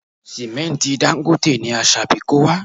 Sìmẹ́ntì Dangote ni Asabi kó wá